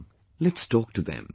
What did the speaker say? Come, let's talk to them